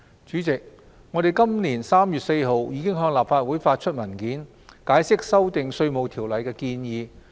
主席，我們在今年3月4日已向立法會發出文件，解釋修訂《稅務條例》的建議。